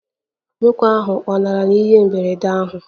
Nwoke ahụ lanarịrị ihe mberede ahụ?